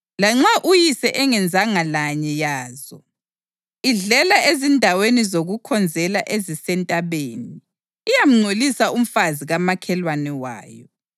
(lanxa uyise engenzanga lanye yazo): Idlela ezindaweni zokukhonzela ezisentabeni. Iyamngcolisa umfazi kamakhelwane wayo.